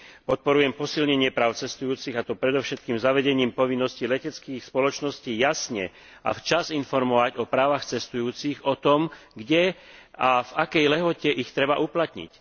Podporujem posilnenie práv cestujúcich, a to predovšetkým zavedením povinnosti leteckých spoločností jasne a včas informovať o právach cestujúcich o tom, kde a v akej lehote ich treba uplatniť.